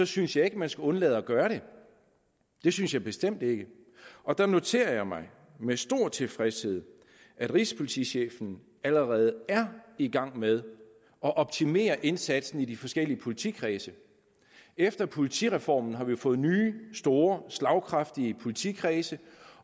synes jeg ikke man skal undlade at gøre det det synes jeg bestemt ikke og der noterer jeg mig med stor tilfredshed at rigspolitichefen allerede er i gang med at optimere indsatsen i de forskellige politikredse efter politireformen har vi jo fået nye store slagkraftige politikredse